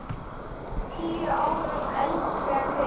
Tíu árum eldri en við.